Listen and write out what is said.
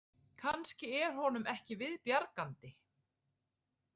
Kannski er honum ekki viðbjargandi